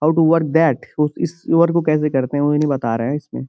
How to work that ? वो इस work को कैसे करते हैं ? वो ये नही बता रहा इसमें।